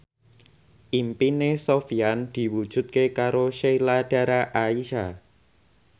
impine Sofyan diwujudke karo Sheila Dara Aisha